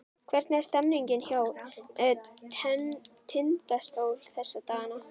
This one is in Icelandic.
Hvernig er stemningin hjá Tindastól þessa dagana?